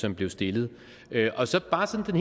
som blev stillet og så bare sådan